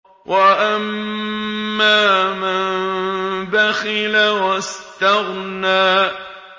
وَأَمَّا مَن بَخِلَ وَاسْتَغْنَىٰ